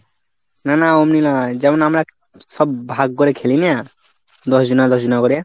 না না অমনি নয়. যেমন আমরা সব ভাগ করে খেলি না? দশজনা দশজনা করে।